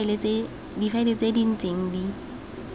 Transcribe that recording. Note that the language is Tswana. difaele tse di ntseng di